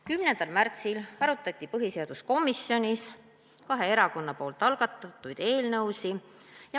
10. märtsil arutati põhiseaduskomisjonis kahe erakonna algatatud eelnõusid.